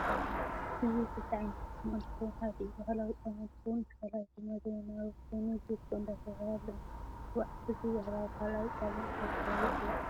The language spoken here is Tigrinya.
እዚ ከልተ ዓይነት ጫማ እንትከውን ሓዲኡ ባህለዊ ጫማ እነትከውን እቲ ካልአይ ድማ ዘመናዊ ኮይኑ ዚኮ እዳተባሃለ እንትፂዋዐ እቲ ባህላዊ ካልአይ ጫማ እንታይ ተባህሉ ይፂዋዓ?